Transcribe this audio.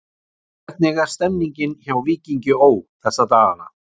Hvernig er stemningin hjá Víkingi Ó. þessa dagana?